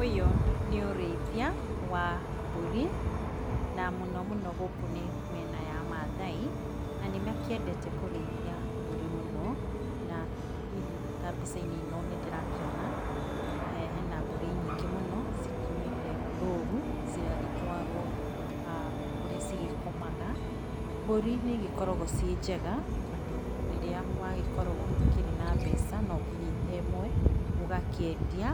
Ũyũ nĩ ũrĩithia wa mbũri, na mũno mũno gũkũ nĩ mĩena ya Maathai, na nĩ makĩendete kũrĩithia mbũri mũno, na hihi ta mbica-inĩ ĩno nĩndĩrakĩona, eeh hena mbũri nyingĩ mũno, ciumĩte rũru, cigagĩtwaarwo kũrĩa cigĩkomaga. Mbũri nĩ igĩkoragwo ciĩ njega, tondũ rĩrĩa wagĩkorwo ũtakĩrĩ na mbeca, no ũkĩnyite ĩmwe ũgakĩendia.